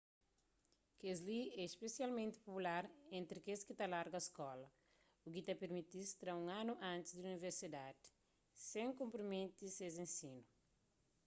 kel-li é spesialmenti popular entri kes ki ta larga skola u ki ta permiti-s tra un anu antis di universidadi sen konprometi ses ensinu